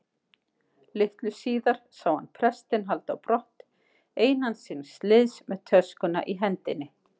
Litlu síðar sá hann prestinn halda á brott einan síns liðs með töskuna í hendinni.